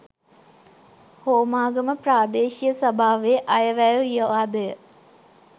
හෝමාගම ප්‍රාදේශීය සභාවේ අයවැය විවාදය